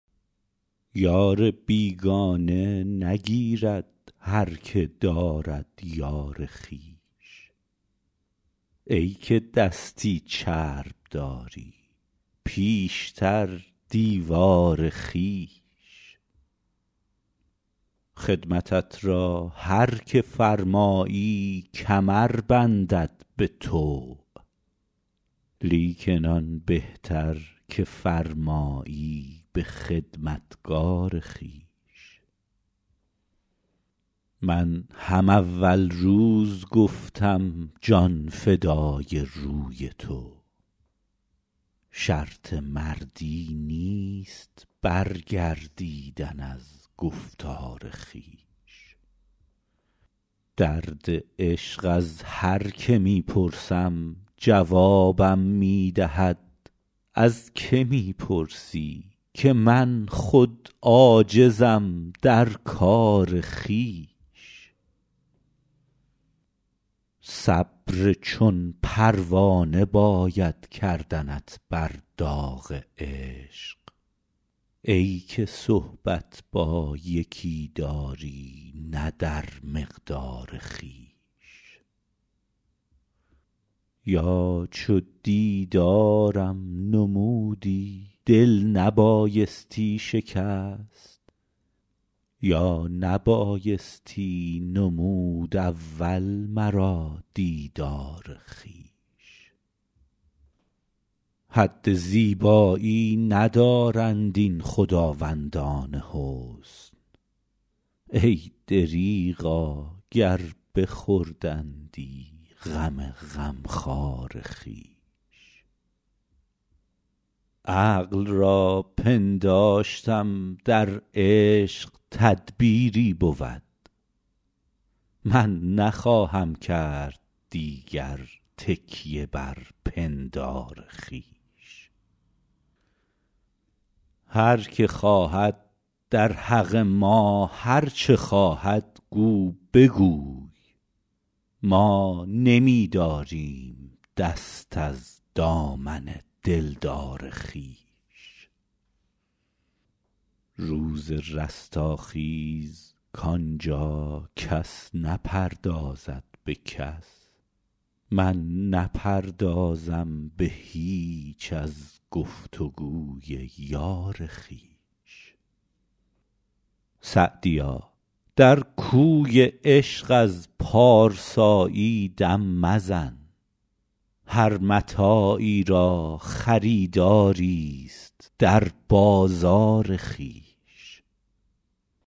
یار بیگانه نگیرد هر که دارد یار خویش ای که دستی چرب داری پیشتر دیوار خویش خدمتت را هر که فرمایی کمر بندد به طوع لیکن آن بهتر که فرمایی به خدمتگار خویش من هم اول روز گفتم جان فدای روی تو شرط مردی نیست برگردیدن از گفتار خویش درد عشق از هر که می پرسم جوابم می دهد از که می پرسی که من خود عاجزم در کار خویش صبر چون پروانه باید کردنت بر داغ عشق ای که صحبت با یکی داری نه در مقدار خویش یا چو دیدارم نمودی دل نبایستی شکست یا نبایستی نمود اول مرا دیدار خویش حد زیبایی ندارند این خداوندان حسن ای دریغا گر بخوردندی غم غمخوار خویش عقل را پنداشتم در عشق تدبیری بود من نخواهم کرد دیگر تکیه بر پندار خویش هر که خواهد در حق ما هر چه خواهد گو بگوی ما نمی داریم دست از دامن دلدار خویش روز رستاخیز کان جا کس نپردازد به کس من نپردازم به هیچ از گفت و گوی یار خویش سعدیا در کوی عشق از پارسایی دم مزن هر متاعی را خریداریست در بازار خویش